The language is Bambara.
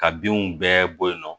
Ka binw bɛɛ bɔ yen nɔ